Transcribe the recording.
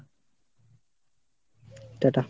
টা টা।